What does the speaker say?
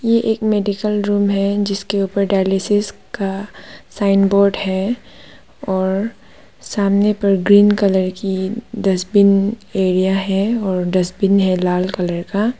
ये एक medical room है जिसके ऊपर डायलिसिस का साइन बोर्ड है और सामने पर ग्रीन कलर की डस्टबिन एरिया है और डस्टबिन है लाल कलर का।